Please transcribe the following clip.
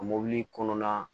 A mɔbili kɔnɔna